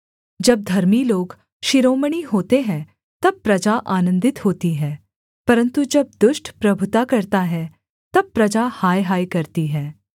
जब धर्मी लोग शिरोमणि होते हैं तब प्रजा आनन्दित होती है परन्तु जब दुष्ट प्रभुता करता है तब प्रजा हायहाय करती है